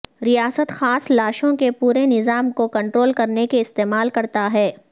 ریاست خاص لاشوں کے پورے نظام کو کنٹرول کرنے کے استعمال کرتا ہے